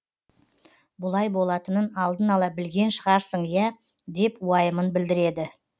бұлай болатынын алдын ала білген шығарсын ия деп уайымын білдіреді